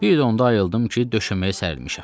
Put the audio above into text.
Bir də onda ayıldım ki, döşəməyə sərilmişəm.